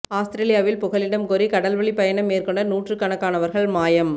அவுஸ்திரேலியாவில் புகலிடம் கோரி கடல் வழிப் பயணம் மேற்கொண்ட நூற்றுக் கணக்கானவர்கள் மாயம்